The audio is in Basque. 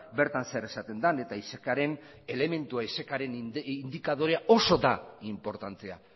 bertan zer esaten den eta isec indikadorea oso da inportantea